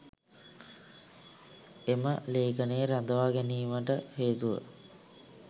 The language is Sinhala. එම ලේඛනයේ රඳවා ගැනීමට හේතුව